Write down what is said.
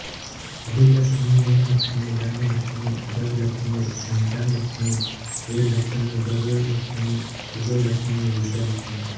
Adilakshmi Dhanlaxmi Dhanyalakshmi Gajalakshmi Santanalakshmi वीरलक्ष्मीधैर्यलक्ष्मी Vijayalakshmi Vidyalakshmi